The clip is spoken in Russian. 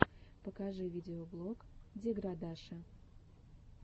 покажи видеоблог деградаши